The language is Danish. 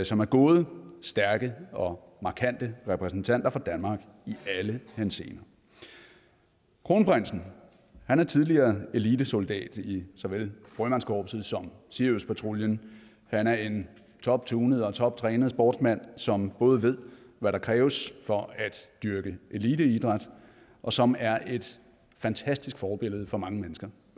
som er gode stærke og markante repræsentanter for danmark i alle henseender kronprinsen er tidligere elitesoldat i såvel frømandskorpset som i siriuspatruljen han er en toptunet og toptrænet sportsmand som både ved hvad der kræves for at dyrke eliteidræt og som er et fantastisk forbillede for mange mennesker